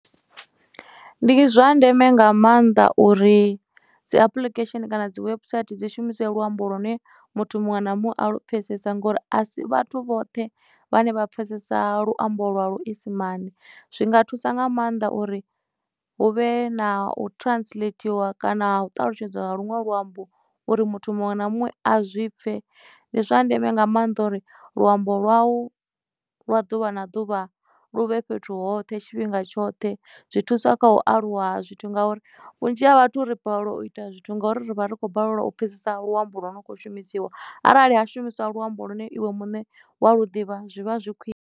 Ndi zwa ndeme nga maanḓa uri dzi application kana dzi webusaithi dzi shumise luambo lu ne muthu muṅwe na muṅwe a lu pfesesa ngori a si vhathu vhoṱhe vhane vha pfesesa luambo lwa lu isimani zwi nga thusa nga maanḓa uri hu vhe na u translatiwa kana u ṱalutshedzwa ha lunwe luambo uri muthu muṅwe na muṅwe a zwi pfhe ndi zwa ndeme nga maanḓa uri luambo lwau lwa ḓuvha na ḓuvha luvhe fhethu hoṱhe tshifhinga tshoṱhe zwi thusa kha u aluwa zwithu ngauri vhunzhi ha vhathu ri balelwa u ita zwithu ngori ri vha ri khou balelwa u pfhesesa luambo luno kho shumisiwa arali ha shumiswa luambo lu ne iwe muṋe wa lu ḓivha zwi vha zwi khwiṋe.